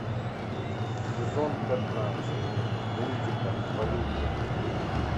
сезон пятнадцать мультика волейбол